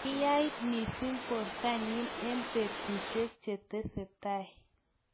kiyait mising borto nyin eng' betusiek che teseitai